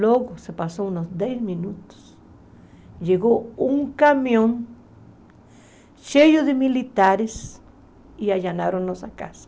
Logo, se passaram uns dez minutos, chegou um caminhão cheio de militares e nos chamaram para casa.